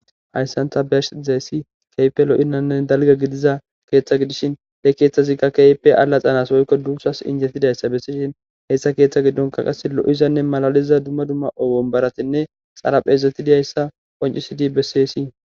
hayssan ta be'ashe dizaysi kehipe lo'izane dalga gidiza keeththa gidishin he keeththazikka keype allaxanas woykko duussas injetidayssa bessishin hessa keeththa giddonka qase lo7izanne malaliza dumma dumma wombaratinne xaraphezeti diyayssa qoncisidi bessesii.